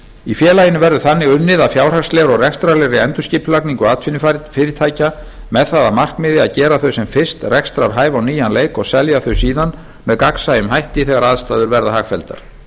í félaginu verður þannig unnið að fjárhagslegri og rekstrarlegri endurskipulagningu atvinnufyrirtækja með það að markmiði að gera þau sem fyrst rekstrarhæf á nýjan leik og selja þau síðan með gagnsæjum hætti þegar aðstæður verða hagfelldar